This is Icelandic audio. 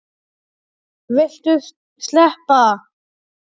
Viltu sleppa!